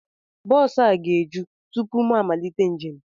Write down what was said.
Bọọsu a ga-eju tụpụ mụ amalite njem